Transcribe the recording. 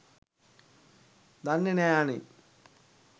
දන්නෙ නෑ අනේ